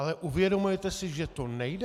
Ale uvědomujete si, že to nejde?